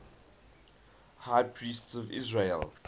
high priests of israel